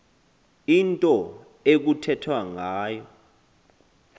into ekuthethwa ngayo